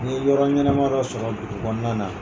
N ye yɔrɔ ɲɛnama dɔ sɔrɔ dugu kɔnɔna na.